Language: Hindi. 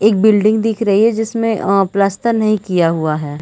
एक बिल्डिंग दिख रही हैं जिसमें अ प्लास्टर नहीं किया हुआ हैं।